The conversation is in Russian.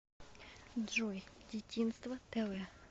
джой дитинство тэ вэ